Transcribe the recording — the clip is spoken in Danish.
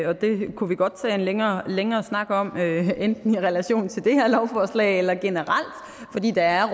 og det kunne vi godt tage en længere længere snak om enten i relation til det her lovforslag eller generelt fordi der er